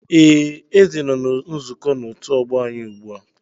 Ee, Eze nọ na nzukọ na otu ọgbọ anyị ugbu a